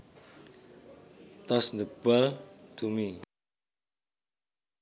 Toss the ball to me